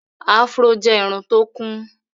afro jẹ Irun tó kún.